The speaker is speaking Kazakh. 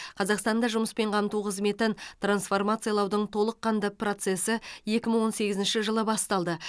қазақстанда жұмыспен қамту қызметін трансформациялаудың толыққанды процесі екі мың он сегізінші жылы басталды